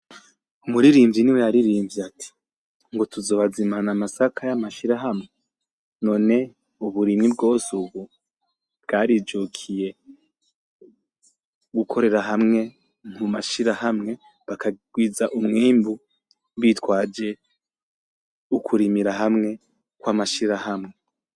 Umuririmbyi ni we yaririmbye ati: ngo tuzobazimana amasaka y'amashirahamwe. None uburimyi bwose ubu bwari bukwiye gukorera hamwe mu mashirahamwe bakagwiza umwimbu bitwaje ukurimira hamwe kw'amashirahamwe.